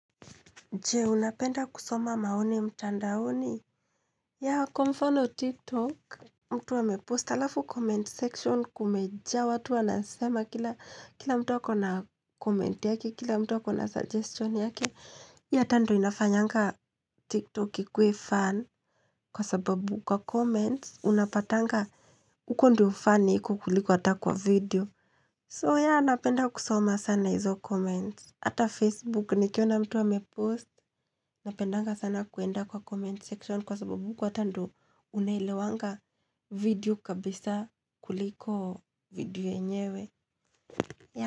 Jee, unapenda kusoma maoni mtandaoni? Ya, hako mfano tiktok, mtu amepost alafu comment section kumeja, watu anasema kila mtu wako na comment yake, kila mtu wako na suggestion yaki. Ya ata inafanyanga tiktok kikwe fan kwa sababu kwa comments, unapatanga, huko ndio fani kukuliku ata kwa video. So ya, unapenda kusoma sana hizo comments. Ata Facebook nikiona mtu amepost Napendanga sana kuenda kwa comment section Kwa sababu kwa tando unailiwanga video kabisa kuliko video enyewe.